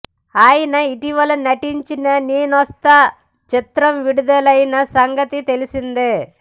ఆయన ఇటీవల నటించిన నేనొస్తా చిత్రం విడుదలైన సంగతి తెలిసిందే